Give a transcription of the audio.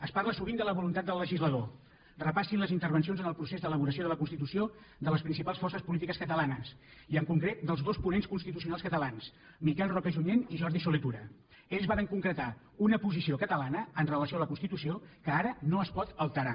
es parla sovint de la voluntat del legislador repassin les intervencions en el procés d’elaboració de la constitució de les principals forces polítiques catalanes i en concret dels dos ponents constitucionals catalans miquel roca i junyent i jordi solé tura ells varen concretar una posició catalana amb relació a la constitució que ara no es pot alterar